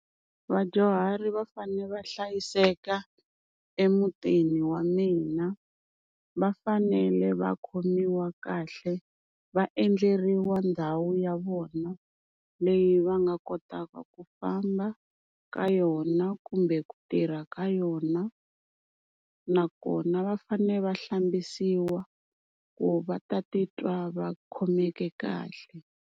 Vadyuhari va fane va hlayiseka emutini wa mina. Va fanele va khomiwa kahle va endleriwa ndhawu ya vona leyi va nga kotaka ku famba ka yona, kumbe ku tirha ka yona, nakona va fane va hlambisiwa ku va ta titwa va khomeke kahle.